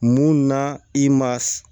Mun na i ma s